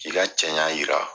K'i ka cɛɲa yira.